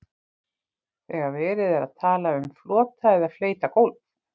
Þegar verið er að tala um flota eða fleyta gólf.